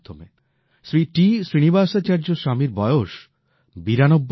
Shri T Srinivasacharya স্বামীর বয়স ৯২ বছর